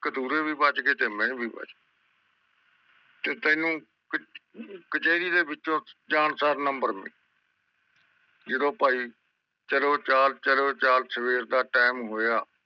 ਕਤੂਰੇ ਵੀ ਬਚ ਗਏ ਤੇ ਮੇਵੀਨ ਵੀ ਬੱਚ ਗਯੀ ਤੇ ਤੈਨੂੰ ਕਚਰੀ ਦੇ ਵਿੱਚੋ ਜਾਨ ਸਰ ਨੰਬਰ ਮਿਲਣਾ ਜਦੋ ਭਾਈ ਚਾਲ ਚਲੋ ਚਾਲ ਸਵੇਰ ਦਾ ਟੀਮ ਹੋਇਆ